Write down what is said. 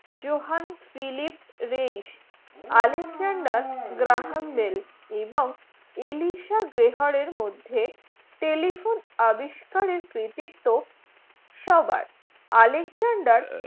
Johann Philipp Reis Alexander Graham Bell এবং Elisha গ্রাহার মধ্যে telephone আবিস্কারের কৃতিত্ব সবার alexender